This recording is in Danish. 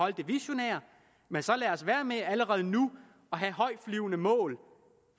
i det visionære men så lad os lade være med allerede nu at have højtflyvende mål